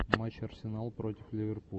матч арсенал против ливерпуля